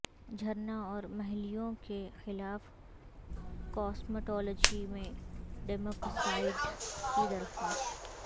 جھرنا اور مںہلیوں کے خلاف کاسمیٹولوجی میں ڈیمیکسائڈ کی درخواست